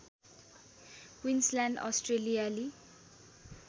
Queensland अस्ट्रेलियाली